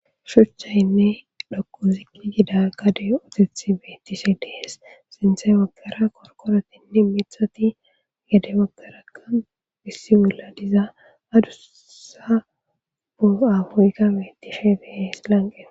Shuchaynne dhoqqu ziqi gida gaadey ahotethi betishe de'es. Sinthezan bagara qorqqorotinne miiththati henu bagarakka issi bolla diza adduussa boho ahoykka betishe de'es lanqqen.